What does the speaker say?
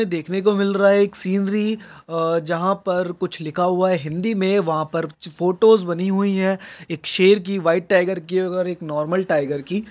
देखने को मिल रहा है एक सीनरी अ जहा पर कुछ लिखा हुआ है हिंदी मे वहा पर कुछ फोटोज बनी हुई है एक शेर की व्हाइट टाइगर की और एक नॉर्मल टाइगर की।